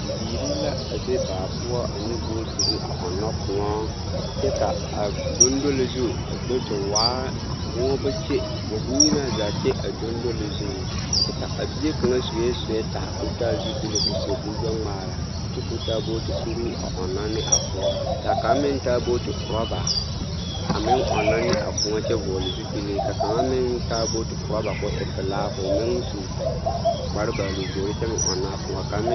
Bibiiri la a be baa poɔ ane bootiri a ɔnnɔ kõɔ kyɛ ka a dondoli zu a do te waa moɔ ba kye moɔ bonyenaa zaa kye a dondoli zuŋ kyɛ ka a bie kaŋa sue sewɛta k'o taa zupili k'o seɛ kuri gbɛ-ŋmaara kyɛ k'o taa booti kuruu a ɔnnɔ ne a kõɔ k'a kaŋ meŋ taa booti orɔba a meŋ ɔnnɔ ne a kõɔ kyɛ vɔgele zupili ka kaŋa meŋ taa booti orɔba k'o e pelaa k'o meŋ su kpare baalu-vori kyɛ meŋ ɔnnɔ a kõɔ kaŋ meŋ.